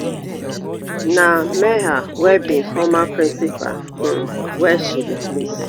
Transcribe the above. na meher wey be former principal um wey she replace